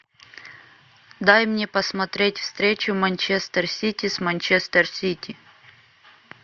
дай мне посмотреть встречу манчестер сити с манчестер сити